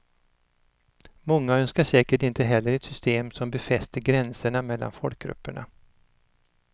Många önskar säkert inte heller ett system som befäster gränserna mellan folkgrupperna.